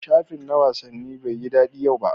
shafi na wasanni Bai yi dadi yau ba.